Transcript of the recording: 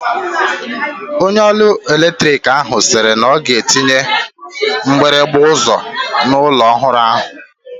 Onye ọrụ eletrik ahụ sịrị na ọ ga-etinye mgbịrịgba ụzọ n'ụlọ ọhụrụ ahụ.